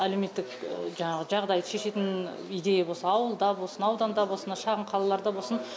әлеуметтік жаңағы жағдайды шешетін идея болса ауылда болсын ауданда болсын мына шағын қалаларда болсын